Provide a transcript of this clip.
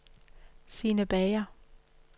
Sine Bager